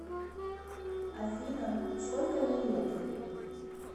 афина сколько ей лет